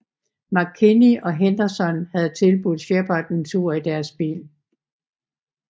McKinney og Henderson havde tilbudt Shepard en tur i deres bil